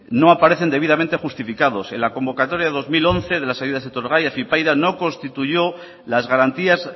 no aparecen debidamente justificados en la convocatoria de dos mil once de las ayudas etorgai afypaida no constituyó las garantías